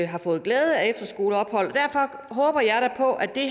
har fået glæde af efterskoleophold og derfor håber jeg da på at det